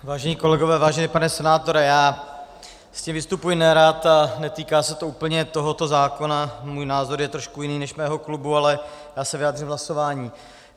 Vážení kolegové, vážený pane senátore, já s tím vystupuji nerad a netýká se to úplně tohoto zákona, můj názor je trošku jiný než mého klubu, ale já se vyjádřím v hlasování.